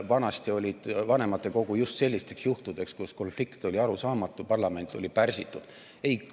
Vanasti oli vanematekogu just sellisteks juhtudeks, kus konflikt oli arusaamatu, parlament oli pärsitud.